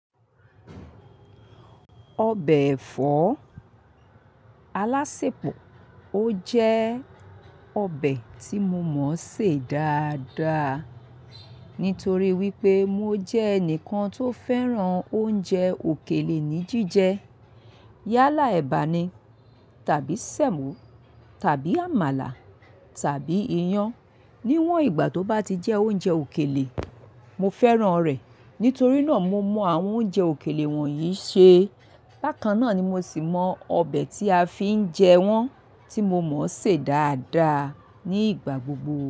Ọbẹ̀ ẹ̀fọ́ alásèpọ̀, ó jẹ́ ọbẹ̀ tí mo mọ̀ ṣè dáadáa nítorí wípé mo jẹ́ ẹnìkan tó fẹ́ràn oúnjẹ òkèlè ní jíjẹ. Yálà ẹ̀bà ni, tàbí sẹ̀mọ́, tàbí àmàlà, tàbí iyán. Níwọn ìgbà tó bá ti jẹ́ oúnjẹ òkèlè, mo fẹ́ràn rẹ̀. Nítorí náà mo mọ àwọn oúnjẹ òkèlè wọ̀nyií ṣe. Bákan náà ni mo sì mọ ọbẹ̀ tí a fi ń jẹ wọn tí mo mọ̀ ṣè dáadáa ní ìgbà gbogbo.